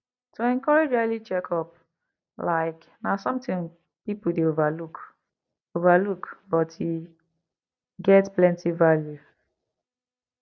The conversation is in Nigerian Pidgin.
to encourage early checkup like na something people dey overlook overlook but e get plenty value